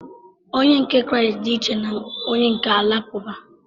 Onye nke Kraịst dị iche na onye nke Alakụba.